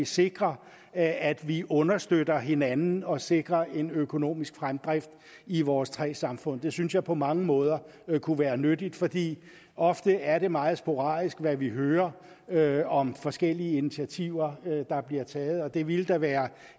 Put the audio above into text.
sikre at vi understøtter hinanden og sikre en økonomisk fremdrift i vores tre samfund det synes jeg på mange måder kunne være nyttigt fordi det ofte er meget sporadisk hvad vi hører hører om forskellige initiativer der bliver taget og det ville da være